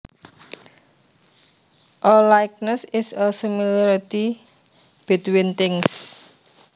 A likeness is a similarity between things